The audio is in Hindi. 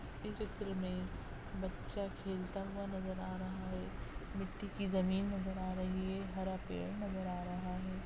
इस चित्र में बच्चा खेलता हुआ नजर आ रहा है मिट्टी की जमीन नजर आ रही है हरा पेड़ नजर आ रहा है।